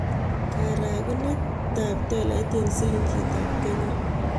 Karogunetap tolait eng'silingitap Kenya